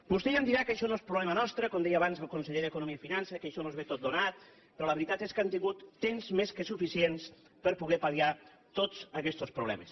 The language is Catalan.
vostè ja em dirà que això no és problema nostre com deia abans el conseller d’economia i finances que això ens ve tot donat però la veritat és que hem tingut temps més que suficient per poder pal·liar tots aquests problemes